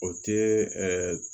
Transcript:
O ti ɛɛ